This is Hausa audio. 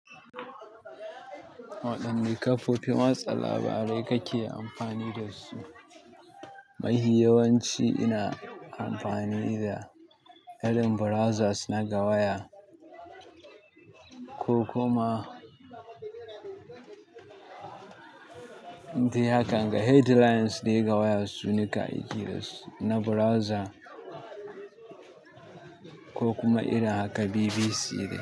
Waɗanne kafofin watsa labarai kake amfani da su? Mafi yawanci ina amfani da irin browsers na ga waya ko kuma dai haka headlines dai ga waya su nika aiki da su na browser ko kuma irin haka BBC dai.